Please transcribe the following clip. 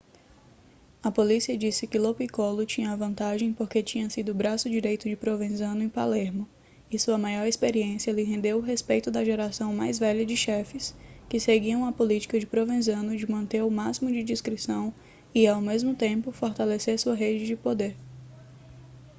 a polícia disse que lo piccolo tinha a vantagem porque tinha sido o braço direito de provenzano em palermo e sua maior experiência lhe rendeu o respeito da geração mais velha de chefes que seguiam a política de provenzano de manter o máximo de discrição e ao mesmo tempo fortalecer sua rede de poder